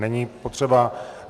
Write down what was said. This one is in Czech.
Není potřeba.